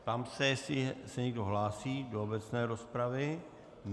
Ptám se, jestli se někdo hlásí do obecné rozpravy.